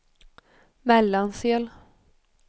Mellansel